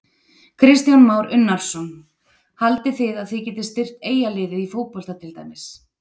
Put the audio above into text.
Kristján Már Unnarsson: Haldið þið að þið getið styrkt Eyjaliðið í fótbolta til dæmis?